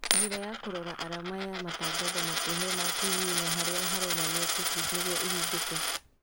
Njĩra ya kũrora arama ya matangatho makuhĩ maku hihinya harĩa haronania cookies nĩguo ĩhingũke